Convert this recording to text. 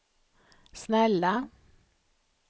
snälla